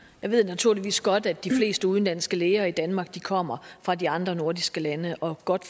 jeg ved naturligvis godt at de fleste udenlandske læger i danmark kommer fra de andre nordiske lande og godt